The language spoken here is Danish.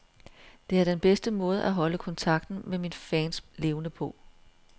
Det er den bedste måde at holde kontakten med mine fans levende på.